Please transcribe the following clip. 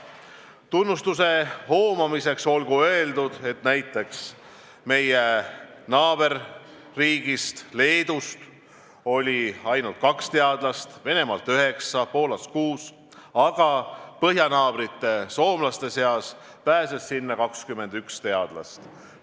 Tunnustuse hoomamiseks olgu öeldud, et meie naaberriigist Leedust oli ainult kaks teadlast, Venemaalt üheksa, Poolast kuus, aga põhjanaabrite soomlaste seast pääses sinna 21 teadlast.